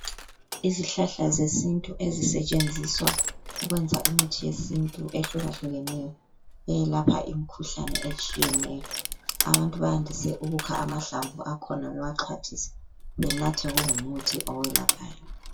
Izihlahla zesisintu ezisetshenziswa ukwenza imithi yesintu ehlukahlukaneyo eyelapha Imikhuhlane etshiyeneyo abantu bayandise ukukha mahlamvu akhona bewaxhwathise benathe kungumuthi eyelaphayo.